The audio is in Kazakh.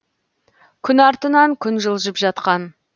күн артынан күн жылжып жатқан